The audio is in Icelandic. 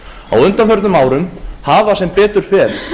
á undanförnum árum hafa sem betur fer